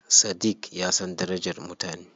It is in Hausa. Sadiq ya san darajar mutane.